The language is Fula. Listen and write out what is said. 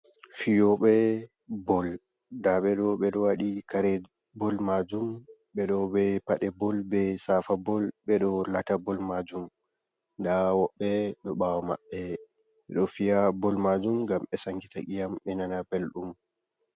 Fiyobe bol nda ɓeɗo ɓe ɗo waɗi kare bol majum, ɓe ɗo be paɗe bol be safa bol ɓeɗo lata bol majum, nda woɓbe ɗo ɓawo maɓɓe ɓeɗo fiya bol majum ngam ɓe sangita iyam be nana ɓeldum.